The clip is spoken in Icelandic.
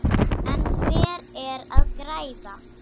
En hver er að græða?